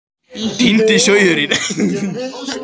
Týndi sauðurinn